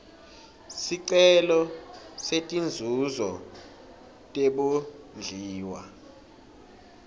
sicelo setinzuzo tebondliwa